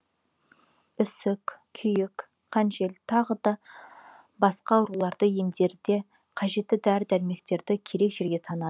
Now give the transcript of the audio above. үсік күйік қанжел тағы да басқа ауруларды емдерде қажетті дәрі дәрмектерді керек жерге таңады